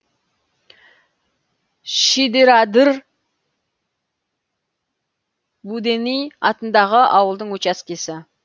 шидерадыр буденый атындағы ауылдың учаскесі